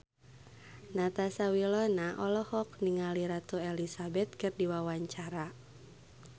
Natasha Wilona olohok ningali Ratu Elizabeth keur diwawancara